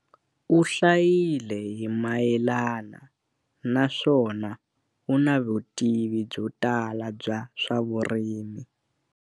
U hlayile hi mayelana na naswona u na vutivi byo tala bya swa vurimi.